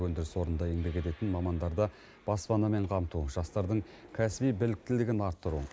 өндіріс орнында еңбек ететін мамандарды баспанамен қамту жастардың кәсіби біліктілігін арттыру